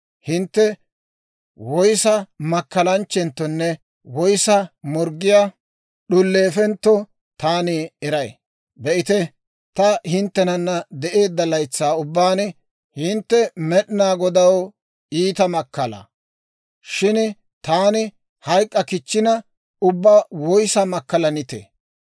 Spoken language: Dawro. Hintte woyissa makkalanchchenttonne woyissa morggiyaa d'uleefentto taani eray. Be'ite, ta hinttenana de'eedda laytsaa ubbaan hintte Med'inaa Godaw iita makkalaa; shin taani hayk'k'a kichchina, ubbaa woyissaa makkalanitee?